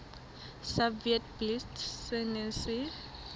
sa witblits se neng se